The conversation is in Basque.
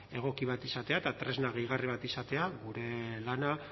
egoki bat izatea eta tresna gehigarri bat izatea gure lana